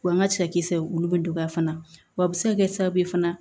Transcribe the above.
Wa n ka cɛkisɛ olu bɛ dɔgɔya fana wa a bɛ se ka kɛ sababu ye fana